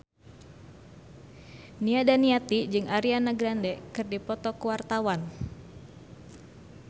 Nia Daniati jeung Ariana Grande keur dipoto ku wartawan